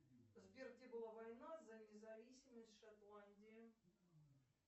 сбер где была война за независимость шотландии